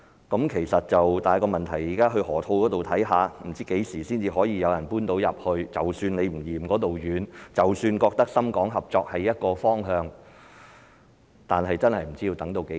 但是，問題是現在不知何時才有人能遷進去河套——即使你不嫌那裏遠，即使認為深港合作是一個方向，但也不知要等到何時。